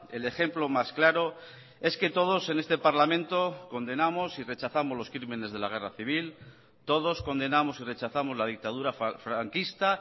el ejemplo más claro es que todos en este parlamento condenamos y rechazamos los crímenes de la guerra civil todos condenamos y rechazamos la dictadura franquista